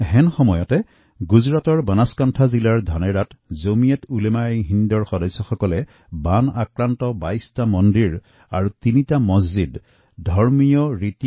এনে সময়তে গুজৰাটৰ বানচকাঁথা জিলাৰ ধানেৰাত জমীয়তউলেমাএহিন্দৰ কৰ্মকৰ্তাসকলে বানত ক্ষতিগ্ৰস্ত ২২টা মন্দিৰ আৰু ৩টা মচজিদৰ চাফাইৰ কাম সম্পূৰ্ণ কৰে